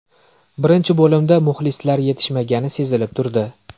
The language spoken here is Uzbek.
Birinchi bo‘limda muxlislar yetishmagani sezilib turdi.